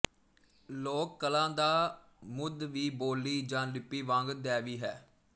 ਲੋਕ ਕਲਾ ਦਾ ਮੁੱਢ ਵੀ ਬੋਲੀ ਜਾਂ ਲਿਪੀ ਵਾਂਗ ਦੈਵੀ ਹੈ